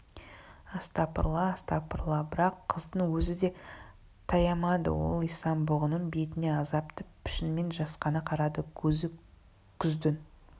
астапыралла астапыралла бірақ қыздың өзі де таямады ол исан-бұғының бетіне азапты пішінмен жасқана қарады көзі күздің